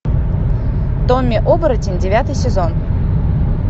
томми оборотень девятый сезон